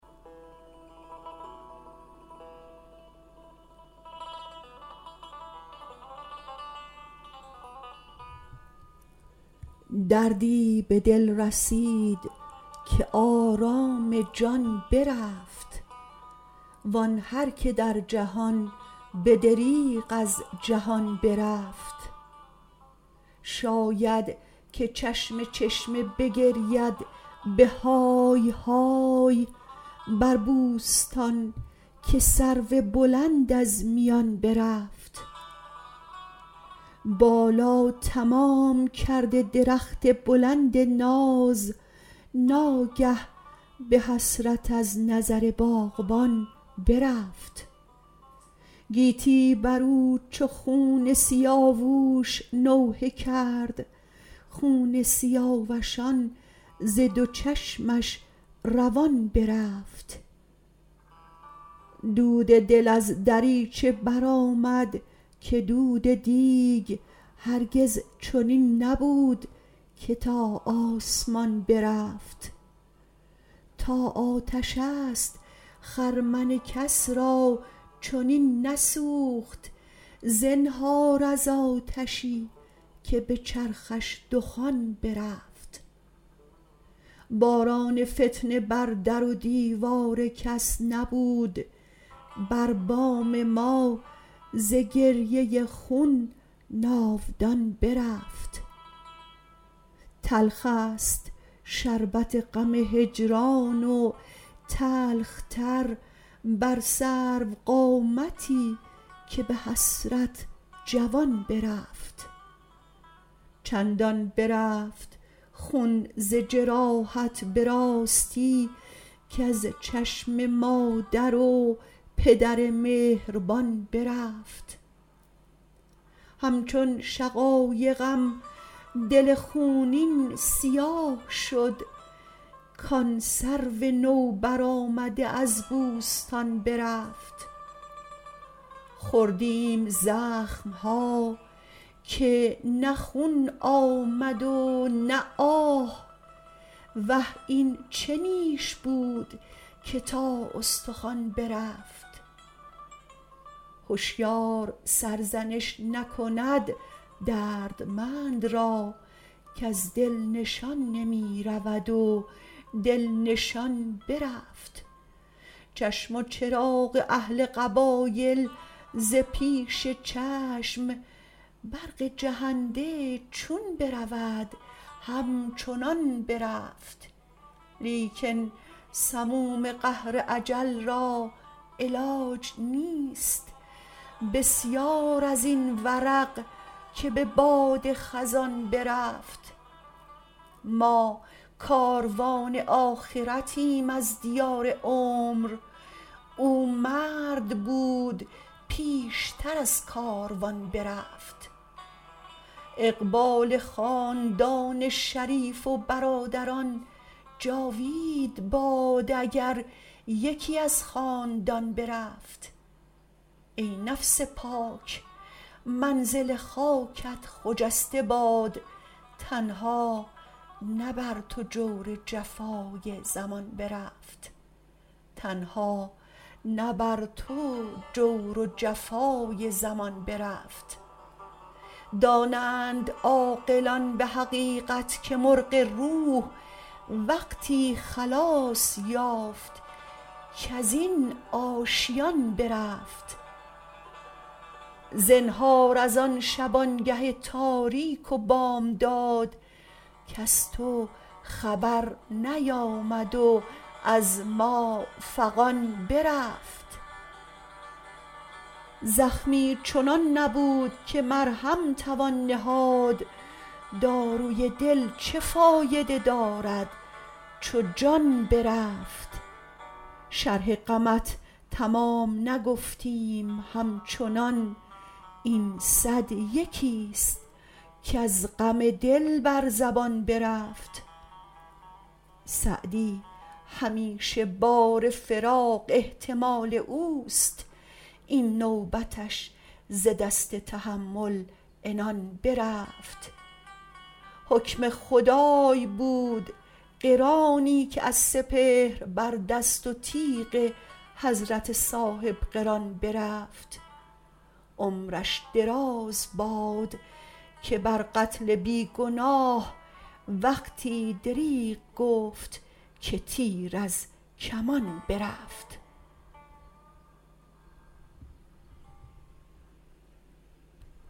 دردی به دل رسید که آرام جان برفت وان هر که در جهان به دریغ از جهان برفت شاید که چشم چشمه بگرید به های های بر بوستان که سرو بلند از میان برفت بالا تمام کرده درخت بلند ناز ناگه به حسرت از نظر باغبان برفت گیتی برو چو خون سیاووش نوحه کرد خون سیاوشان زد و چشمش روان برفت دود دل از دریچه برآمد که دود دیگ هرگز چنین نبود که تا آسمان برفت تا آتش است خرمن کس را چنین نسوخت زنهار از آتشی که به چرخش دخان برفت باران فتنه بر در و دیوار کس نبود بر بام ما ز گریه خون ناودان برفت تلخست شربت غم هجران و تلخ تر بر سروقامتی که به حسرت جوان برفت چندان برفت خون ز جراحت به راستی کز چشم مادر و پدر مهربان برفت همچون شقایقم دل خونین سیاه شد کان سرو نوبرآمده از بوستان برفت خوردیم زخمها که نه خون آمد و نه آه وه این چه نیش بود که تا استخوان برفت هشیار سرزنش نکند دردمند را کز دل نشان نمی رود و دل نشان برفت چشم و چراغ اهل قبایل ز پیش چشم برق جهنده چون برود همچنان برفت لیکن سموم قهر اجل را علاج نیست بسیار ازین ورق که به باد خزان برفت ما کاروان آخرتیم از دیار عمر او مرد بود پیشتر از کاروان برفت اقبال خاندان شریف و برادران جاوید باد اگر یکی از خاندان برفت ای نفس پاک منزل خاکت خجسته باد تنها نه بر تو جور و جفای زمان برفت دانند عاقلان به حقیقت که مرغ روح وقتی خلاص یافت کزین آشیان برفت زنهار از آن شبانگه تاریک و بامداد کز تو خبر نیامد و از ما فغان برفت زخمی چنان نبود که مرهم توان نهاد داروی دل چه فایده دارد چو جان برفت شرح غمت تمام نگفتیم همچنان این صد یکیست کز غم دل بر زبان برفت سعدی همیشه بار فراق احتمال اوست این نوبتش ز دست تحمل عنان برفت حکم خدای بود قرانی که از سپهر بر دست و تیغ حضرت صاحبقران برفت عمرش دراز باد که بر قتل بی گناه وقتی دریغ گفت که تیر از کمان برفت